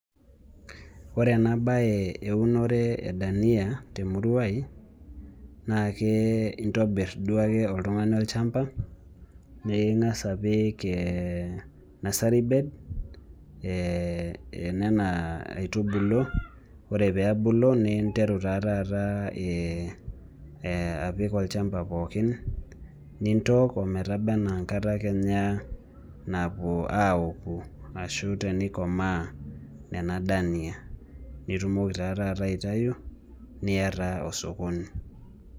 Ore ena bae eunore edania, temurrua ai naa intobirr duake oltungani olchamba ninkasa apik ee nursary bed ee enena aitubulu ore pee ebulu ninteru taataata ee apik olchamba pookin nintook ometaba enaa enkata Kenya aouku tenikomaa nena dania, nitumoki taataata aitayu niyataa osokoni.